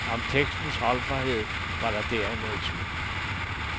Om tekstens holdbarhed var der derimod lidt tvivl.